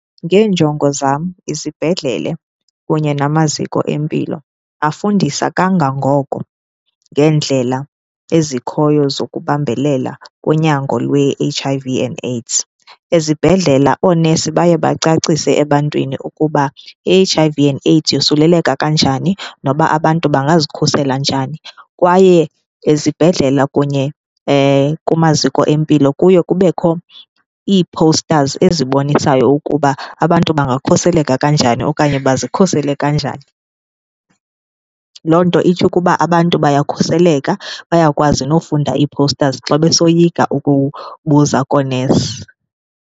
Ngeenjongo zam, izibhedlele kunye namaziko empilo afundisa kangangoko ngeendlela ezikhoyo zokubambelela kunyango lwe-H_I_V and AIDS. Ezibhedlela oonesi baye bacacise ebantwini ukuba i-H_I_V and AIDS yosuleleka kanjani noba abantu bangazikhusela njani kwaye ezibhedlela kunye kumaziko empilo kuye kubekho ii-posters ezibonisayo ukuba abantu bangakhuseleka kanjani okanye bazikhusele kanjani. Loo nto itsho ukuba abantu bayakhuseleka bayakwazi nofunda ii-posters xa besoyika ukubuza koonesi.